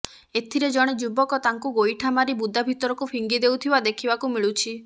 ଏଥିରେ ଜଣେ ଯୁବକ ତାଙ୍କୁ ଗୋଇଠା ମାରି ବୁଦା ଭିତରକୁ ଫିଙ୍ଗି ଦେଉଥିବା ଦେଖିବାକୁ ମିଳୁଛି